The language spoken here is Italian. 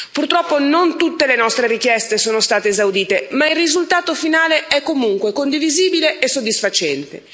Purtroppo, non tutte le nostre richieste sono state esaudite, ma il risultato finale è comunque condivisibile e soddisfacente.